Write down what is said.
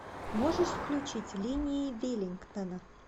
можешь включить линии веллингтона